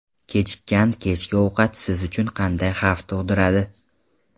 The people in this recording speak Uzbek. Kechikkan kechki ovqat siz uchun qanday xavf tug‘diradi?.